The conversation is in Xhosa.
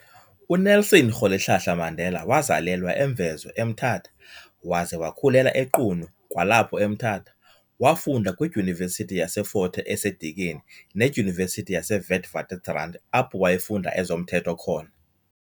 UNelson Rholihlahla Mandela wazalelwa eMvezo eMthatha waze wakhulela eQunu kwalapho eMthatha. Wafunda kwidyunivesithi yaseFort Hare eseDikeni nedyunivesithi yaseWitwatersrand apho wayefunda ezomthetho khona.